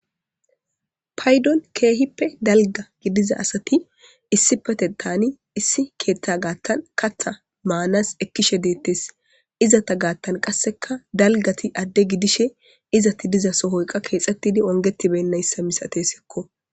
paydon keehippe dalga gidiza asati issi pete taani issi keeththa gaattan katha maanas ekkishe deettes izata gaattan qasseka dalgati adde gidishe izati diza sohoyqa keexettidi ongetibennayssa misate sikko